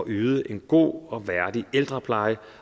yde en god og værdig ældrepleje